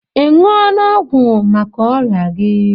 Ị ṅụọla ọgwụ maka ọrịa gi?